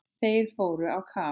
Þeir fóru á kaf.